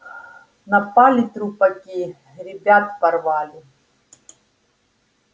напали трупаки ребят порвали